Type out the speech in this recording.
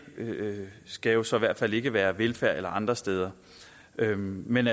skal jo så i hvert fald ikke være fra velfærd eller andre steder men